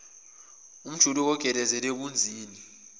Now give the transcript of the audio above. umjuluko ogeleza ebunzini